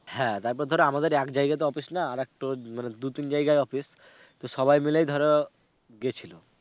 হ্যাঁ তারপর ধরো আমাদের এক জায়গায় তো office নয়, আরেকটু, মানে দু - তিন জায়গায় office তো সবাই মিলে ধরো গেছিলো.